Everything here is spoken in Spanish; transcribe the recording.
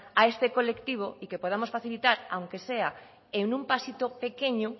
a este colectivo y que podamos facilitar aunque sea en un pasito pequeño